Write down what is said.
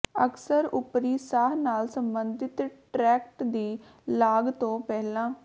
ਅਕਸਰ ਉੱਪਰੀ ਸਾਹ ਨਾਲ ਸੰਬੰਧਤ ਟ੍ਰੈਕਟ ਦੀ ਲਾਗ ਤੋਂ ਪਹਿਲਾਂ